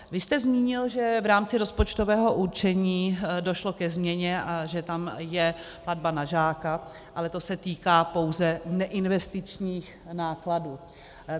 Vy jste zmínil, že v rámci rozpočtového určení došlo ke změně a že tam je platba na žáka, ale to se týká pouze neinvestičních nákladů.